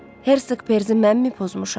Hersek Perzi mənmi pozmuşam?